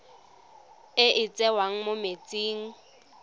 e e tswang mo metsing